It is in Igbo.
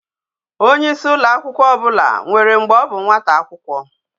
Onye isi ụlọ akwụkwọ ọbụla nwere mgbe ọbụ nwata akwụkwọ